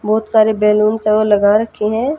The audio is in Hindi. बहोत सारे बैलून से वह लगा रखे है।